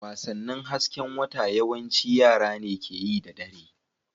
Wasannin hasken wata yawanci yara ne ke yi da dare.